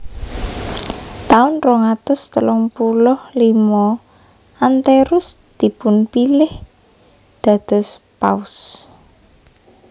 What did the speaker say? Taun rong atus telung puluh limo Anterus dipunpilih dados Paus